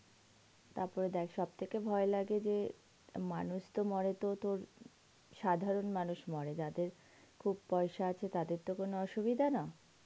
তারপরে দেখ সবথেকে ভয় লাগে যে মানুষ তো মরে, সাধারণ মানুষ মরে যাদের খুব পয়সা আছে তাদের তো কোনো অসুবিধা না,